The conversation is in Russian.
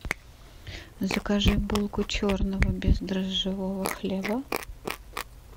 закажи булку черного бездрожжевого хлеба